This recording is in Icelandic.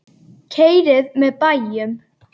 Keyrið með bæjum